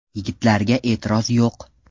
Yigitlarga e’tiroz yo‘q.